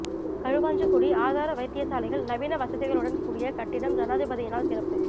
களுவாஞ்சிக்குடி ஆதார வைத்தியசாலையில் நவீன வசதிகளுடன் கூடிய கட்டிடம் ஜனாதிபதியினால் திறப்பு